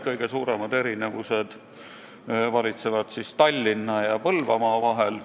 Kõige suuremad erinevused valitsevad Tallinna ja Põlvamaa vahel.